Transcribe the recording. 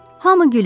Hamı gülür.